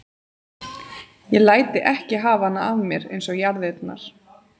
Ég læt þig ekki hafa hana af mér eins og jarðirnar.